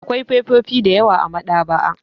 Akwai fefofi da yawa a maɗaba'a.